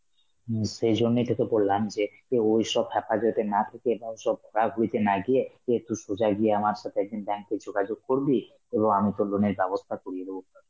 হম সেই জন্যেই তোকে বললাম যে তুই ওইসব হেফাজতে না থেকে, বা ঐসব ঘোরাঘুরিতে না গিয়ে, এ তুই সোজা গিয়ে আমার সাথে একদিন bank এ যোগাযোগ করবি, কোনো আমি তো loan এর ব্যবস্থা করিয়ে দেব.